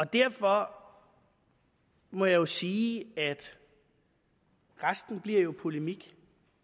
derfor må jeg sige at resten jo bliver polemik